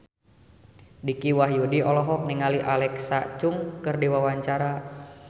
Dicky Wahyudi olohok ningali Alexa Chung keur diwawancara